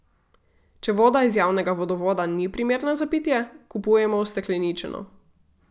Če voda iz javnega vodovoda ni primerna za pitje, kupujemo ustekleničeno.